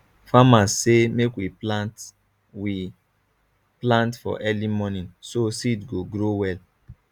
farmers say make we plant we plant for early morning so seed go grow well